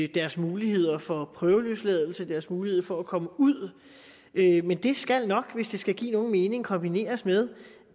deres muligheder for prøveløsladelse deres mulighed for at komme ud men det skal nok hvis det skal give nogen mening kombineres med